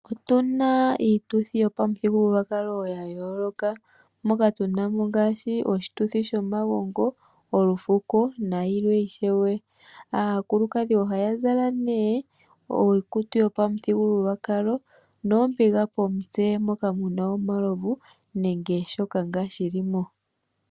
Otuna iituthi yomaputhigululwakalo yayooloka mokatunamo ngaashi, oshituthi shomagongo, olufuko nayilwe ishewe. Aakulukadhi ohaya zala ne iikutu yopamuthigululwakalo noombiga pomutse moka muna omalovu nenge shoka ngaa shili mo.